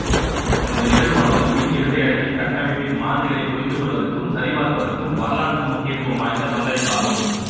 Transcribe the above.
இந்த நிகழ்வானது மின் இரட்டை அடுக்கின் கட்டமைப்பின் மாதிரிகளைப் புரிந்துகொள்வதற்கும் சரிபார்ப்பதற்கும் வரலாற்று முக்கியத்துவம் வாய்ந்த பங்களிப்பாகும்